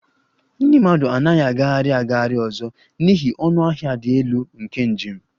Ndị mmadụ anaghị agagharị agagharị ọzọ n'ihi ọnụ ahịa dị elu nke njem